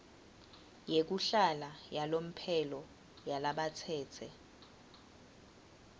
yekuhlala yalomphelo yalabatsetse